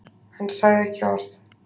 Hann sagði ekki orð.